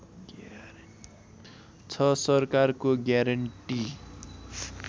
छ सरकारको ग्यारेन्टी